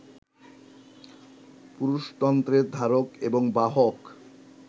পুরুষতন্ত্রের ধারক এবং বাহক